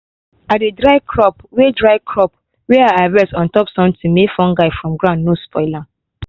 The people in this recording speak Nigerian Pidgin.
i dey dry crop way dry crop way i harvest on top something make fungus from ground no spoil am.